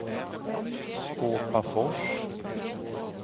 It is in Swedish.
Skåpafors